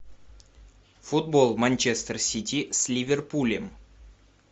футбол манчестер сити с ливерпулем